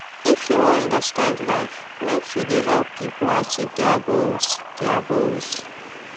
if you wan understand life make you dey help pipo achieve their goals their goals